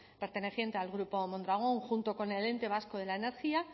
perteneciente al grupo mondragón junto con el ente vasco de la energía